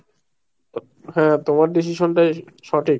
হ্যাঁ তোমার decision টাই সঠিক।